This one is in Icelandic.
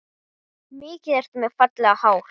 Mikið ertu með fallegt hár